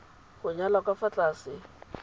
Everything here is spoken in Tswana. go nyalwa ka fa tlase